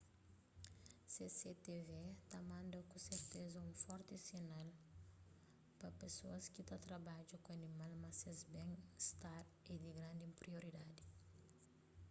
cctv ta manda ku serteza un forti sinal pa pesoas ki ta trabadja ku animal ma ses ben istar é di grandi prioridadi